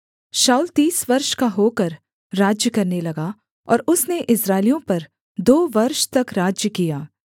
शाऊल तीस वर्ष का होकर राज्य करने लगा और उसने इस्राएलियों पर दो वर्ष तक राज्य किया